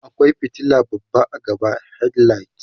akwai fitila babba a gaba watau headlight